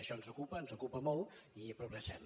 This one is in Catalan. això ens ocupa ens ocupa molt i progressem